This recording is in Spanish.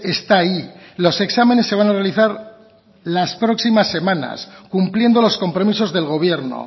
está ahí los exámenes se van a realizar las próximas semanas cumpliendo los compromisos del gobierno